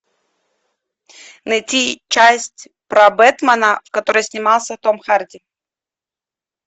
найти часть про бэтмена в которой снимался том харди